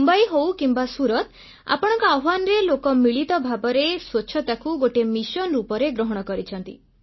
ମୁମ୍ବାଇ ହେଉ କିମ୍ବା ସୁରତ୍ ଆପଣଙ୍କ ଆହ୍ୱାନରେ ଲୋକେ ମିଳିତ ଭାବରେ ସ୍ୱଚ୍ଛତାକୁ ଗୋଟିଏ ମିଶନ ରୂପରେ ଗ୍ରହଣ କରିଛନ୍ତି